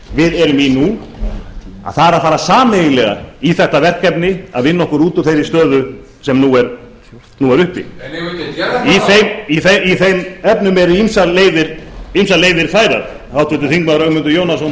við erum í nú að fara sameiginlega í þetta verkefni að vinna okkur út úr þeirri stöðu sem nú er uppi en eigum við ekki að gera það í þeim efnum eru ýmsar leiðir færar háttvirtur þingmaður ögmundur jónasson